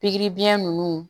Pikiri biyɛn nunnu